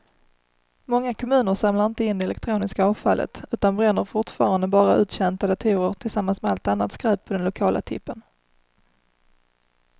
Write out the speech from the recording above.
Många kommuner samlar inte in det elektroniska avfallet utan bränner fortfarande bara uttjänta datorer tillsammans med allt annat skräp på den lokala tippen.